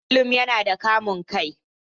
Haruna kullum yana da kamun kai.